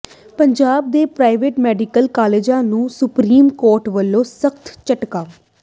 ਪੰਜਾਬ ਦੇ private medical ਕਾਲਜਾਂ ਨੂੰ ਸੁਪਰੀਮ ਕੋਰਟ ਵੱਲੋਂ ਸਖ਼ਤ ਝਟਕਾ